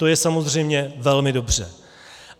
To je samozřejmě velmi dobře.